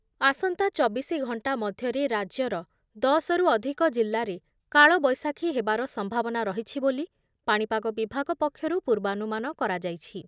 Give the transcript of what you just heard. ଆସନ୍ତା ଚବିଶି ଘଣ୍ଟା ମଧ୍ୟରେ ରାଜ୍ୟର ଦଶ ରୁ ଅଧିକ ଜିଲ୍ଲାରେ କାଳବୈଶାଖୀ ହେବାର ସମ୍ଭାବନା ରହିଛି ବୋଲି ପାଣିପାଗ ବିଭାଗ ପକ୍ଷରୁ ପୂର୍ବାନୁମାନ କରାଯାଇଛି ।